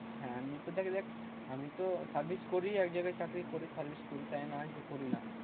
হ্যাঁ আমিতো দেখা যাক। আমিতো service করি একজায়গায় চাকরি করি service করি তাই নয় যে করি না।